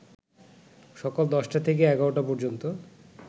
সকাল ১০টা থেকে ১১টা পর্যন্ত